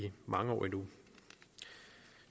mange år endnu